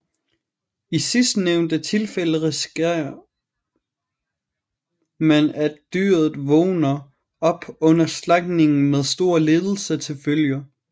I sidstnævnte tilfælde riskerer man at dyret vågner op under slagtningen med store lidelser til følge